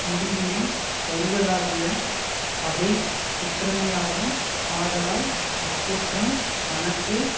முடிவினைத் தருவதாகிய பகை குற்றமேயாகும் ஆதலால் அக்குற்றம் தனக்கு